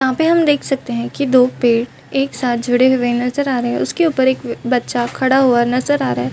यहाँ पे हम देख सकते है की दो पेड़ एक साथ जुड़े हुए नज़र आ रहे है उसके ऊपर एक बच्चा खड़ा हुआ नज़र आ रहा है ।